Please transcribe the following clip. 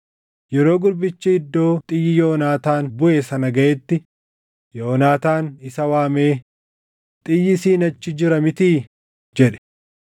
Yeroo gurbichi iddoo xiyyi Yoonaataan buʼe sana gaʼetti, Yoonaataan isa waamee, “Xiyyi siin achi jira mitii?” jedhe.